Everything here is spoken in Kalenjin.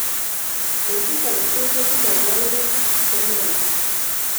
Betut aketukul ko tindoi kaimutik nelel